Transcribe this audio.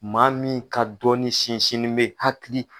Maa min ka dɔnin sinsinnen be hakili